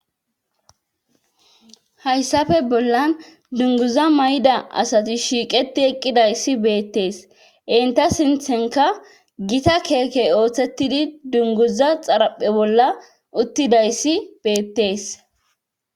Hayssafe bollan dunguza may'da asati shiiqeti eqqidayssi beettees inta sinthenka gita keekey ooththettidi dunguza xaraphe bolla uttidayssi beettees.